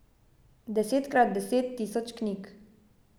Desetkrat deset tisoč knjig.